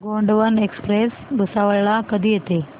Gondwana express Bhusawal ला कधी येते